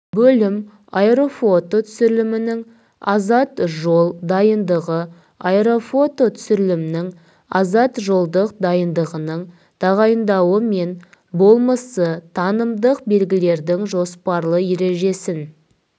бөлім аэрофото түсірілімнің азат жол дайындығы аэрофото түсірілімнің азат жолдық дайындығының тағайындауы мен болмысы танымдық белгілердің жоспарлы ережесін